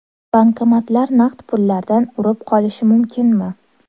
Bankomatlar naqd pullardan urib qolishi mumkinmi?.